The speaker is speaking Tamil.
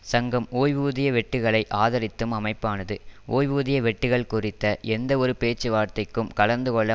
சங்கம் ஓய்வூதிய வெட்டுக்களை ஆதரித்தும் அமைப்பானது ஓய்வூதிய வெட்டுக்கள் குறித்த எந்த ஒரு பேச்சுவார்த்தைக்கும் கலந்துகொள்ள